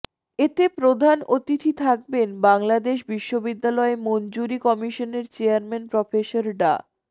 এতে প্রধান অতিথি থাকবেন বাংলাদেশ বিশ্ববিদ্যালয় মঞ্জুরি কমিশনের চেয়ারম্যান প্রফেসর ড